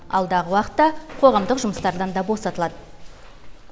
алдағы уақытта қоғамдық жұмыстардан да босатылады